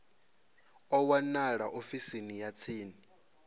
a wanalea ofisini ya tsini